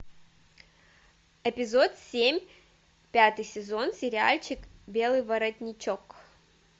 эпизод семь пятый сезон сериальчик белый воротничок